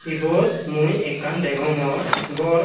ibot mui ekkan degongor gor.